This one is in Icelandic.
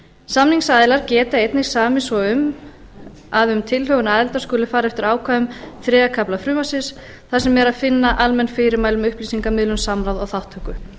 samningsaðilar geta einnig samið svo um að um tilhögun aðildar skuli fara eftir ákvæðum þriðja kafla frumvarpsins þar sem er að finna almenn fyrirmæli um upplýsingamiðlun samráð og þátttöku